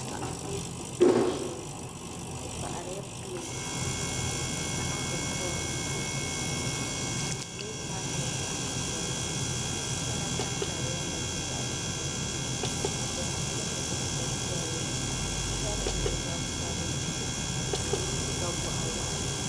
Paɣa m be duduhirigu shee o paɣarila pileti ka niŋdi kol pileti maa nyɛla zaɣa piɛlli ka sheŋa tamtamya n gba nyɛ zaɣa piɛlli bɛ pentilimi penta piɛlli bɛ zabiri nyɛla zab'sabila ka o ye liiga boɣuwaɣala.